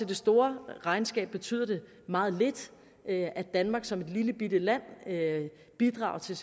det store regnskab betyder det meget lidt at danmark som et lillebitte land bidrager til